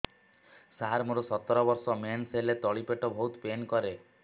ସାର ମୋର ସତର ବର୍ଷ ମେନ୍ସେସ ହେଲେ ତଳି ପେଟ ବହୁତ ପେନ୍ କରେ